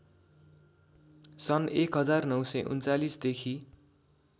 सन् १९३९ देखि